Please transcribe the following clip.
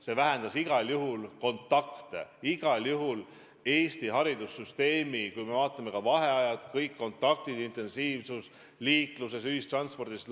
See vähendas igal juhul kontakte – igal juhul nii Eesti haridussüsteemis, liikluses, ühistranspordis.